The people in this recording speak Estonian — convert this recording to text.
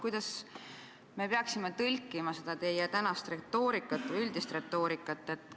Kuidas me peaksime tõlkima seda teie tänast või üldist retoorikat?